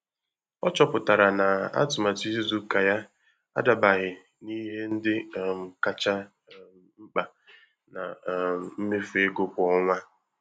Ọ chọpụtara na atụmatụ izu ụka ya adabaghị n'ihe ndị um kacha um mkpa na um mmefu ego kwa ọnwa.